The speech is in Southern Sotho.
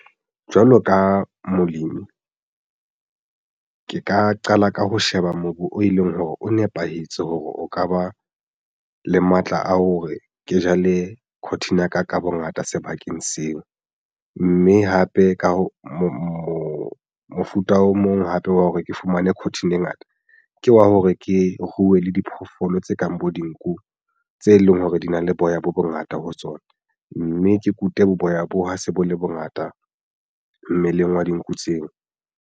Jwalo ka molemi ke ka qala ka ho sheba mobu o e leng hore o nepahetse hore o ka ba le matla a hore ke jale cotton ya ka bongata sebakeng seo mme hape ka ho moo mofuta o mong hape wa hore ke fumane cotton ngata ke wa hore ke ruwe le diphoofolo tse kang bo dinku tse leng hore di na le boya bo bongata ho tsona mme ke kute bo boya bo ha se bo le bongata mmeleng wa dinku tseo.